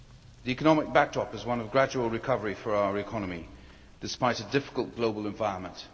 The economic backdrop is one of gradual recovery for our economy, despite a difficult global environment.